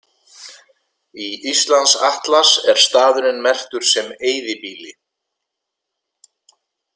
Í Íslandsatlas er staðurinn merktur sem eyðibýli.